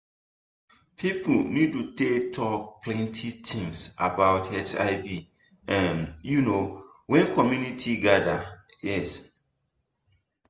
people need to dey talk plenty things about hiv um you know when community gather um